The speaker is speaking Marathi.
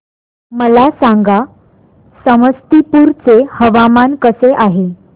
मला सांगा समस्तीपुर चे हवामान कसे आहे